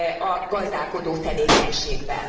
a gazdálkodó tevékenységben.